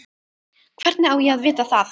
Hvernig á ég að vita það?